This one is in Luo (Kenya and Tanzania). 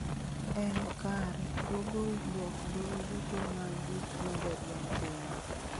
en kare google dwok dwol duto mag gik medo dwol piny